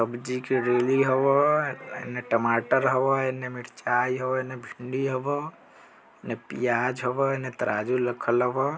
सब्जी करेली होवो हय अ ऐने टमाटर होव हय ऐने मिर्चाय होवो हय ऐने भिंडी होवो ऐने प्याज होवो हय ऐने तराजू लखल होवो।